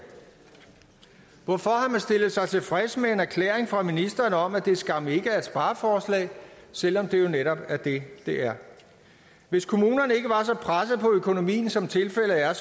hvorfor har man stillet sig tilfreds med en erklæring fra ministeren om at det skam ikke er et spareforslag selv om det jo netop er det det er hvis kommunerne ikke var så pressede på økonomien som tilfældet er